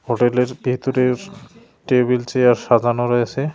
হোটেলের ভেতরের table chair সাজানো রয়েছে।